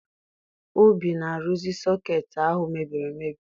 Obi na-arụzi sọkeetị ahụ mebiri emebi